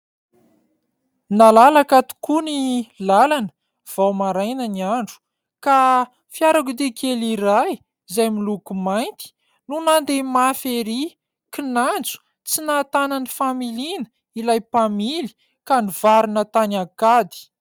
Nalalaka tokoa ny làlana vao maraina ny andro ; ka fiarakodia kely iray izay miloko mainty no nandeha mafy ery kinanjo tsy nahatana ny familiana ilay mpamily ka nivarina tany ankady.